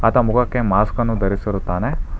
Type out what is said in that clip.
ಆತ ಮುಖಕ್ಕೆ ಮಾಸ್ಕ್ ಅನ್ನು ಧರಿಸಿರುತ್ತಾನೆ.